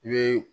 I bɛ